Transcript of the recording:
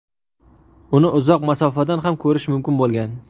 Uni uzoq masofadan ham ko‘rish mumkin bo‘lgan.